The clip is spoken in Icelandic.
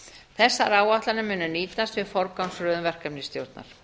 þessar áætlanir munu nýtast við forgangsröðun verkefnisstjórnar